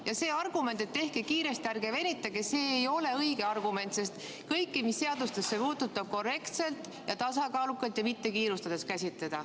Ja see argument, et tehke kiiresti, ärge venitage, ei ole õige argument, sest kõike, mis seadustesse puutub, tuleb korrektselt, tasakaalukalt ja mitte kiirustades käsitleda.